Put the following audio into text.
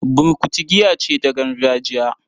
Burkutu giya ce ta gargajiya